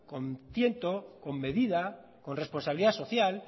con tiento con medida con responsabilidad social